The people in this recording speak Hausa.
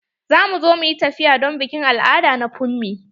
Za mu zo mu yi tafiya don bikin al'ada na funmi.